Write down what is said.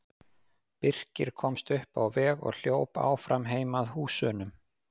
Birkir komst upp á veg og hljóp áfram heim að húsunum.